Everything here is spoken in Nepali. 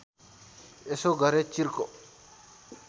यसो गरे चिर्को